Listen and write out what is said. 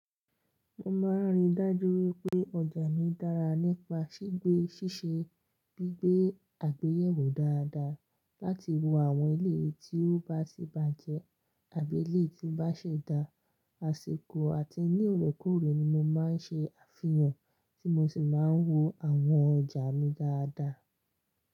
Mo máa ń rí dájú wípé ọjà mi dára nípa ṣígbé ṣíṣe gbígbé àgbéyẹ̀wò dáadáa láti wo àwọn ilé tí ó bá ti bàjẹ́ àbí eléyi tí bá ṣẹ̀ dá. Aṣikọ̀ àti ní loorekóorè ni mo máa ń ṣe àfihàn tí mo sì máa ń wo àwọn ọjà mi dáadáa.